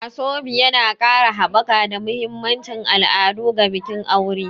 Asoebi yana ƙara haɓaka da mahimmancin al'adu ga bikin aure.